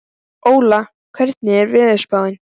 Óla, hvernig er veðurspáin?